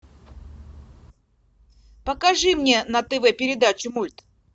покажи мне на тв передачу мульт